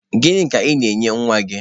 Gịnị ka ị na-enye nwa gị?